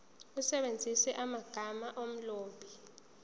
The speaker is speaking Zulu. usebenzise amagama omlobi